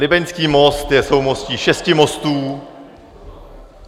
Libeňský most je soumostí šesti mostů.